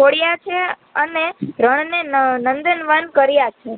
કોડિયા છે અને રણ ને નંદનવન કર્યાછે